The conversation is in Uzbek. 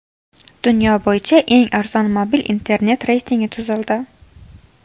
Dunyo bo‘yicha eng arzon mobil internet reytingi tuzildi.